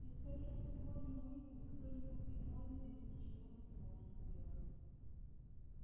и скорее всего ни мы ни кто-нибудь иной здесь ничего не сможет сделать